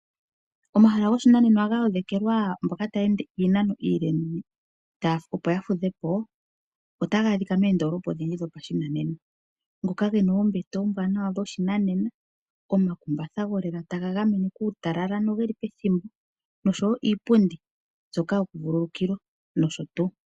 Omahala goshinanena galongekidhilwa mboka taya ende iinano iile opo yafudhepo otagaadhika moondolopa odhindji dhopashinanena ngoka gena oombete oombwanawa dhoshinanena, omakumbatha golela taga gamene kuutalal ano geli pethimbo nosho wo iipumdi mbyoka yokuvululukilwa nosho tuu.